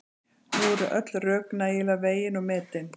Nú eru öll rök nægilega vegin og metin.